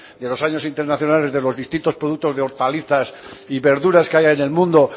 de los años internacionales de los distintos productos de hortalizas y verduras que haya en el mundo